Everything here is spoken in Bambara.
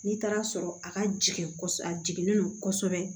N'i taara sɔrɔ a ka jigin a jiginnen don kosɛbɛ